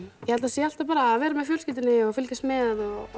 ég held að sé alltaf bara að vera með fjölskyldunni og fylgjast með